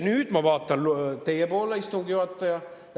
Nüüd ma vaatan teie poole, istungi juhataja.